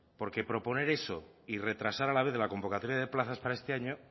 porque proponer eso y retrasar a la vez la convocatoria de plazas para este año